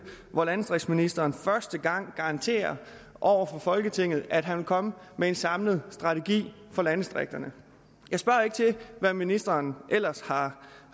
hvor landdistriktsministeren første gang garanterer over for folketinget at han vil komme med en samlet strategi for landdistrikterne jeg spørger ikke til hvad ministeren ellers har